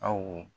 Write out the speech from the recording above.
Aw